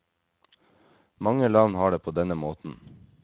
Mange land har det på denne måten.